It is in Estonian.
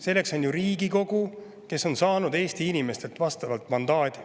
Selleks on ju Riigikogu, kes on saanud Eesti inimestelt mandaadi.